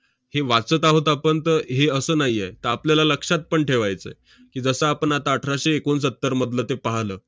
हे वाचत आहोत आपण तर हे असं नाही आहे. तर आपल्याला लक्षात पण ठेवायचं आहे की, जसं आपण आता अठराशे एकोणसत्तरमधलं ते पाहलं.